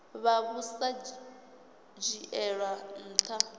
vha vhu sa dzhielwi nha